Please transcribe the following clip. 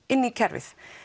inn í kerfið